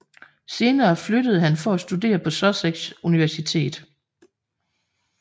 Senere flyttede han for at studere på Sussex Universitet